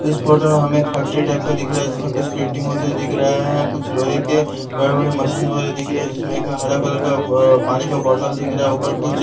इस फोटो में हमें एक फैक्ट्री टाइप का दिख रहा है जिसमें कुछ पेंटिंग होता दिख रहा है कुछ लोहे के बड़े-बड़े मशीन वैगरह दिख रहे है जिसमें एक हरा कलर का बो पानी का बॉटल दिख रहा है ऊपर कुछ --